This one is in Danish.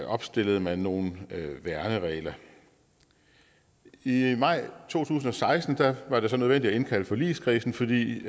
opstillede man nogle værneregler i i maj to tusind og seksten var det så nødvendigt at indkalde forligskredsen fordi